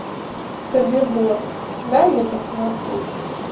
собибор дай мне посмотреть